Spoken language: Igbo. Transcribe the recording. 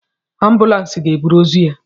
Ambulans ga-eburu ozu ya